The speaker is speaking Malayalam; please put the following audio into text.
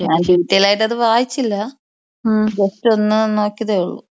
ഞാൻ ഡീറ്റൈൽ ആയിട്ട് അത് വായിച്ചില്ല ജസ്റ്റ് ഒന്ന് നോക്കിയതെ ഒള്ളു.